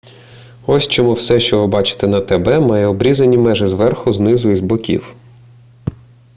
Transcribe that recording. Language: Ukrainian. ось чому все що ви бачите на тб має обрізані межі зверху знизу і з боків